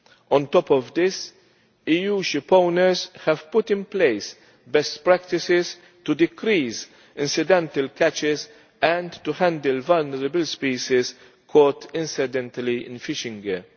On top of this, EU ship owners have put in place best practices to decrease incidental catches and to handle vulnerable species caught incidentally in fishing gear.